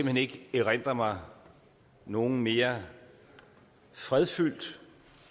hen ikke erindre mig nogen mere fredfyldt